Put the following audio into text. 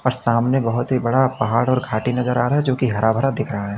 सामने बहोत ही बड़ा पहाड़ और घाटी नजर आ रहा है जो की हरा भरा दिख रहा है।